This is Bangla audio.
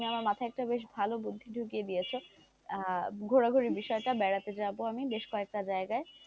তুমি আমার মাথায় একটা বেশ ভালো বুদ্ধি ঢুকিয়ে দিয়েছো আহ ঘোরাঘরের বিষয়টা বেড়াতে যাব আমি বেশ কয়েকটা জায়গায়,